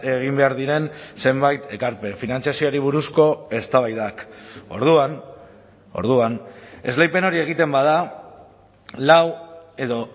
egin behar diren zenbait ekarpen finantzazioari buruzko eztabaidak orduan orduan esleipen hori egiten bada lau edo